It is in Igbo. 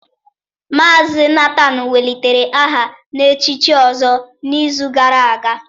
Mazị Nathan welitere aha na-echichi ọzọ n'izu gara aga